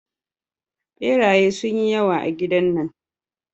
Beraye sun yi yawa a gidan nan.